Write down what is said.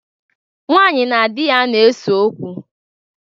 Nwaanyị na di ya na-eso okwu.